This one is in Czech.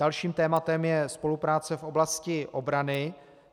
Dalším tématem je spolupráce v oblasti obrany.